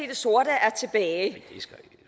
det sorte er tilbage